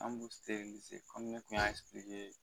An b'u kɔmi ne kun y'a